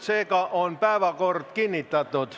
Seega on päevakord kinnitatud.